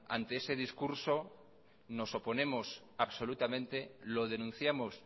ante ese discurso nos oponemos absolutamente lo denunciamos